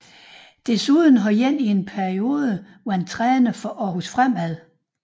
Desuden har en i en periode været træner for Aarhus Fremad